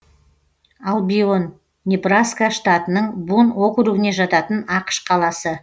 албион небраска штатының бун округіне жататын ақш қаласы